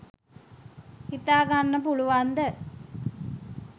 හිතා ගන්න පුළුවන්ද?